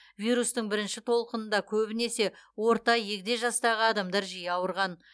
вирустың бірінші толқынында көбінесе орта егде жастағы адамдар жиі ауырған